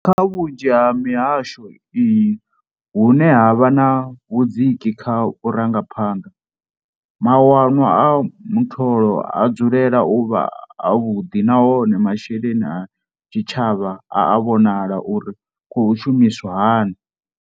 Kha vhunzhi ha mihasho iyi hune ha vha na vhudziki kha vhurangaphanḓa, mawanwa a muṱolo a dzulela u vha avhuḓi nahone masheleni a tshitshavha a a vhonala uri khou shumiswa hani.